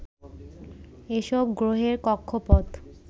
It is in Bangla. এসব গ্রহের কক্ষপথ